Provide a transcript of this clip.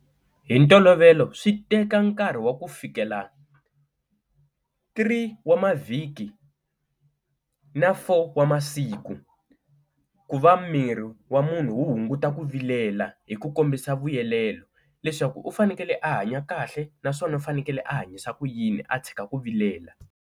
Hi ntolovelo swi teka nkarhi wa ku fikela three wa mavhiki na four wa masiku ku va miri wa munhu wu hunguta ku vilela hi ku kombisa vuyelelo leswaku u fanekele a hanya kahle, naswona u fanekele a hanyisa ku yini a tshika ku vilela.